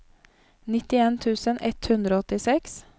nittien tusen ett hundre og åttiseks